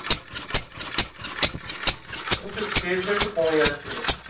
বুঝলি craze টা একটু কমে যাচ্ছে।